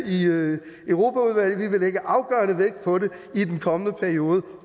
i europaudvalget vi vil lægge afgørende vægt på det i den kommende periode